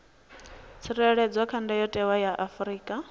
tsireledzwa kha ndayotewa ya afrika